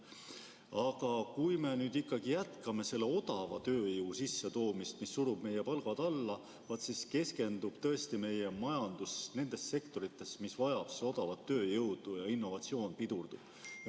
Aga kui me ikkagi jätkame odava tööjõu sissetoomist, mis surub palgad alla, siis keskendub meie majandus nendes sektorites, mis vajavad seda odavat tööjõudu, ja innovatsioon pidurdub.